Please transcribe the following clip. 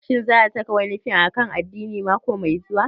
Shin za a saki wani fim akan addini mako mai zuwa?